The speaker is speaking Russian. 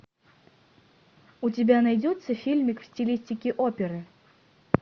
у тебя найдется фильмик в стилистике оперы